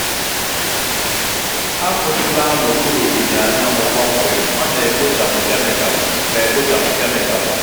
akwụsịla n'okpuru ìhè anyanwụ kpọmkwem ọ na-ekpochapụ kemịkalụ. na-ekpochapụ kemịkalụ.